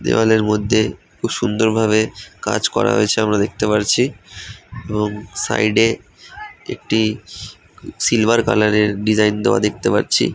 দেওয়ালের মধ্যে খুব সুন্দর ভাবে কাজ করা হয়েছে আমরা দেখতে পারছি এবং সাইড এ একটি সিলভার কালার এর ডিজাইন দেওয়া দেখতে পারছি ।